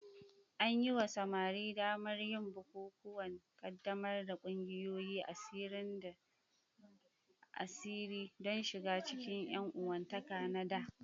An yi wa samari damar yin bukukuwan ƙaddamar da ƙungiyoyin asiri don shiga cikin ƴan uwantaka na dā.